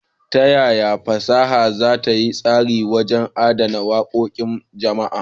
Ta yaya fasaha za ta yi tasiri wajen adana waƙoƙin jama'a?